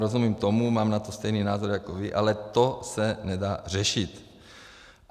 Rozumím tomu, mám na to stejný názor jako vy, ale to se nedá řešit.